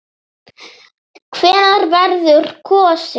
Hvenær verður kosið?